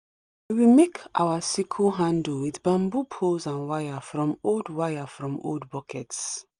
we been make our sickle handle with bamboo poles and wire from old wire from old buckets